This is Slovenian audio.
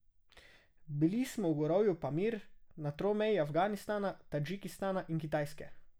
Bili smo v gorovju Pamir na tromeji Afganistana, Tadžikistana in Kitajske.